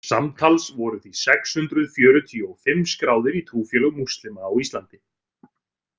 Samtals voru því sex hundruð fjörutíu og fimm skráðir í trúfélög múslima á Íslandi.